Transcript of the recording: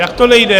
Jak to - nejde?